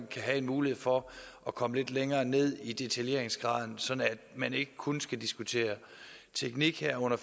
kan have en mulighed for at komme lidt længere ned i detaljeringsgraden sådan at man ikke kun skal diskutere teknik her under